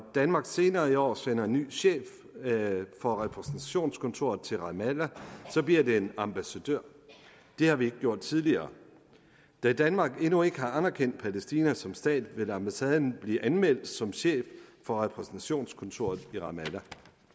danmark senere i år sender en ny chef for repræsentationskontoret til ramallah bliver det en ambassadør det har vi ikke gjort tidligere da danmark endnu ikke har anerkendt palæstina som stat vil ambassadøren blive anmeldt som chef for repræsentationskontoret i ramallah